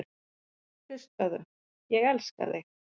Hlustaðu: Ég elska þig.